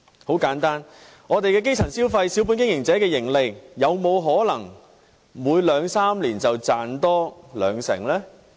很簡單：我們基層的消費、小本經營者的盈利，有沒有可能每兩三年便增加兩成呢？